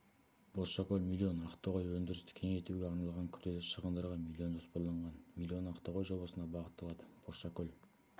бозшакөл миллион ақтоғай өндірісті кеңейтуге арналған күрделі шығындарға миллион жоспарланған миллион ақтоғай жобасына бағытталады бозшакөл